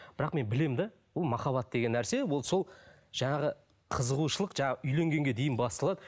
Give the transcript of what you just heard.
бірақ мен білемін де бұл махаббат деген нәрсе ол сол жаңағы қызығушылық жаңа үйленгенге дейін басталады